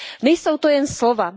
Nejsou to jen slova.